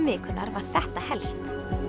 vikunnar var þetta helst